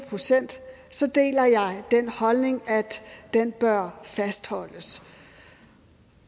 procent deler jeg den holdning at den bør fastholdes